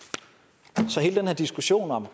så hele den her diskussion om